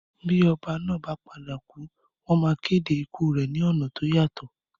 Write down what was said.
Bí oba náà ba padà kù, wón ma kéde ikù rẹ ni ọ̀nà to yàtọ̀